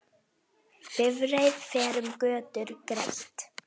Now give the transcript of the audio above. Bifreið fer um götur greitt.